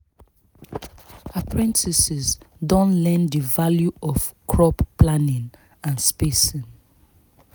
apprentices don learn the value of crop planning and spacing